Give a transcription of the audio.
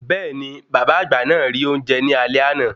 Bẹ́ẹ̀ni, bàbá àgbà náà rí oúnjẹ ní alé àná.